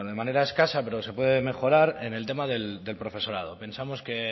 manera escasa pero se puede mejorar en el tema del profesorado pensamos que es